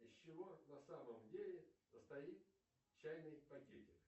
из чего на самом деле состоит чайный пакетик